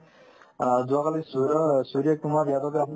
অ, যোৱাকালি সূৰ্য্য~ সূৰ্য্য কুমাৰ যাদাবয়ে আপোনাৰ